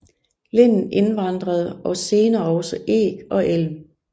Linden indvandrede og senere også eg og elm